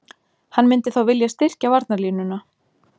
Hann myndi þá vilja styrkja varnarlínuna.